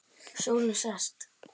Sólin sest.